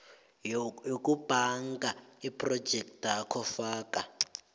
yokubhanga yephrojekthakho faka